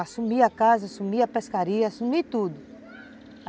Assumi a casa, assumi a pescaria, assumi tudo.